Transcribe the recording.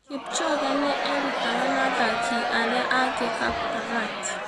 Kipchoge nĩ erutaga na athaki arĩa angĩ Kaptagat.